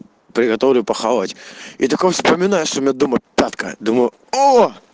приготовлю похавать и такой вспоминаю что у меня дома папка думаю о